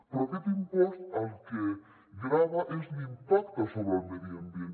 però aquest impost el que grava és l’impacte sobre el medi ambient